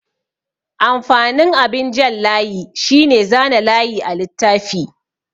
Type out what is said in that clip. Amfanin abin jan layi shine zana layi a littafi.